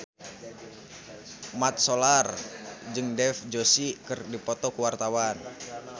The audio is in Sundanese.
Mat Solar jeung Dev Joshi keur dipoto ku wartawan